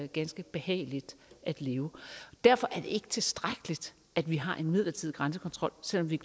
ganske behageligt at leve derfor er det ikke tilstrækkeligt at vi har en midlertidig grænsekontrol selv om vi